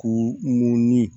K'u munin